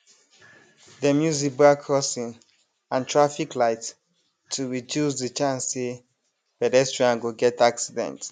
dem use zebra crossing and traffic light to reduce the chance say pedestrian go get accident